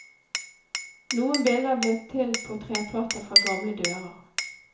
Noen bilder blir til på treplater fra gamle dører.